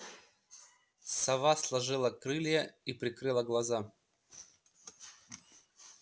сова сложила крылья и прикрыла глаза